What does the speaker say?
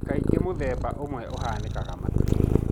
Kaingĩ mũthemba ũmwe ũhanĩkaga matũinĩ.